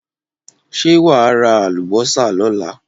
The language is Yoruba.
Ṣé wà á ra àlùbọ́sà lọ́la?